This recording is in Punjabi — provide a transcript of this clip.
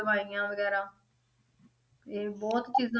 ਦਵਾਈਆਂ ਵਗ਼ੈਰਾ ਇਹ ਬਹੁਤ ਚੀਜ਼ਾਂ